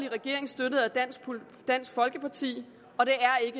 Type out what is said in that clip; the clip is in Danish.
dansk folkeparti og det er